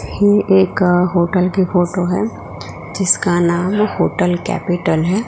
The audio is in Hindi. ये एक होटल के फोटो है जिसका नाम होटल कैपिटल है।